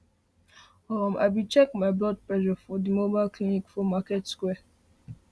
um i be check my blood presure for the mobile clinic for market square